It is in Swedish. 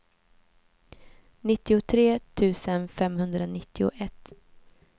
nittiotre tusen femhundranittioett